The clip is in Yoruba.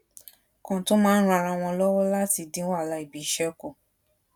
kan tó máa ń ran ara wọn lówó láti dín wàhálà ibiṣé ku